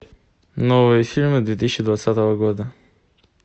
новые фильмы две тысячи двадцатого года